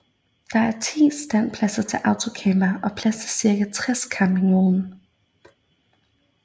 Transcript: Der er 10 standpladser til autocampere og plads til cirka 60 campingvogne